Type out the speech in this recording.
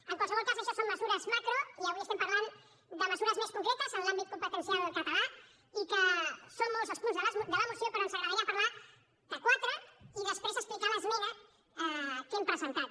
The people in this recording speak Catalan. en qualsevol cas això són mesures macro i avui estem parlant de mesures més concretes en l’àmbit competencial català i que són molts els punts de la moció però ens agradaria parlar de quatre d’aquests i després explicar l’esmena que hem presentat